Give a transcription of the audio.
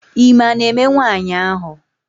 Ime a na-eme nwaanyị ahụ?